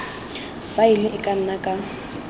faele e ka nna ka